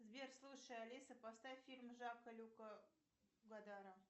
сбер слушай алиса поставь фильм жана люка годара